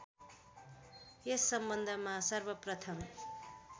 यस सम्बन्धमा सर्वप्रथम